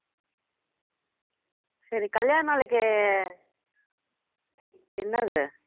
சரி கல்யாண நாளைக்கு என்னது